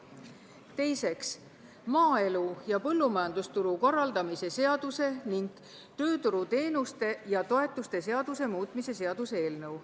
Teiseks, maaelu ja põllumajandusturu korraldamise seaduse ning tööturuteenuste ja -toetuste seaduse muutmise seaduse eelnõu.